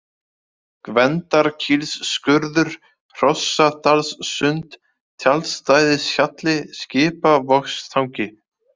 Gvendarkílsskurður, Hrossadalssund, Tjaldstæðishjalli, Skipavogstangi